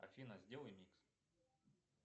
афина сделай микс